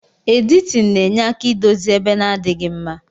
Editin na enye aka idozi ebe na adighi mma.